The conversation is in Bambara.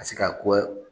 Ka se ka kɔ